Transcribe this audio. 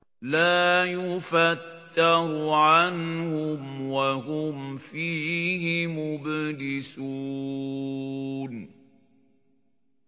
لَا يُفَتَّرُ عَنْهُمْ وَهُمْ فِيهِ مُبْلِسُونَ